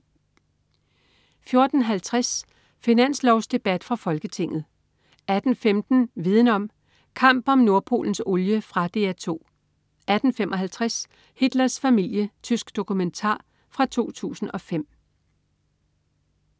14.50 Finanslovsdebat fra Folketinget 18.15 Viden om: Kamp om Nordpolens olie. Fra DR 2 18.55 Hitlers familie. Tysk dokumentar fra 2005